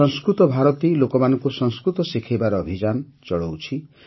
ସଂସ୍କୃତ ଭାରତୀ ଲୋକମାନଙ୍କୁ ସଂସ୍କୃତ ଶିଖାଇବାର ଅଭିଯାନ ଚଳାଉଛି